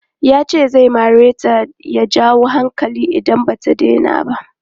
Yace zai mareta ya jawo hankali idan bata daina ba.